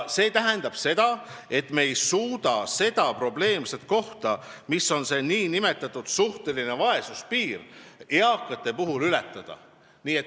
See tähendab seda, et me ei suuda seda probleemset kohta, mis on see nn suhtelise vaesuse piir, eakate puhul ületada.